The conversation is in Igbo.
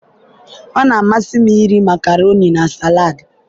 ọ na-amasị m iri makaroni na salad.